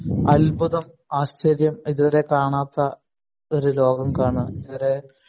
അത്ഭുതം ആശ്ചര്യം ഇതുവരെ കാണാത്ത ഒരു ലോകം കാണുക